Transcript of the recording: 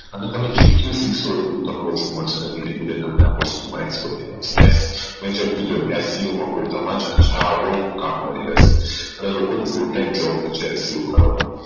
અને તમે જેટલું શીખશો એટલું તમારે મળશે અને તમને ધીરે ધીરે આ વસ્તુ માં Expertise આવશે મેં જેમ કીધું આમ scu માં તમને હજારો કામ મળી રહેશે અને લોકો ની full time job હોઈ છે scu કરવાની